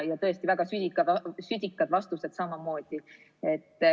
Tõesti, väga südikad vastused.